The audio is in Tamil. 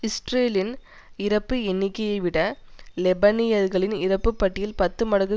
இஸ்ரேலின் இறப்பு எண்ணிக்கையைவிட லெபனியர்களின் இறப்பு பட்டியல் பத்து மடங்கு